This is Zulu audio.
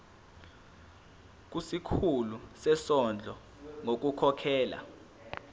kusikhulu sezondlo ngokukhokhela